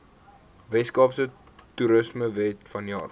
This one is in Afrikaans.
weskaapse toerismewet vanjaar